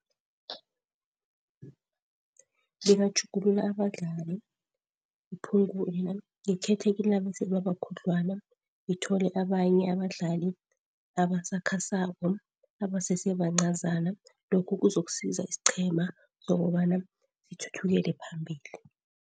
Bebatjhugulula abadlali iphungule namkha ngikhethe kilaba eselebabakhudlwana ngithole abanye abadlali abasakhasako abasesebancazana, lokhu kuzokusiza isiqhema ukobana sithuthukele phambili.